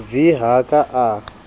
v ha a ka a